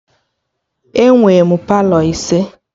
Enwe m Palọ ise